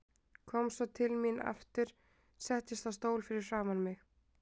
Kom svo til mín aftur og settist á stól fyrir framan mig.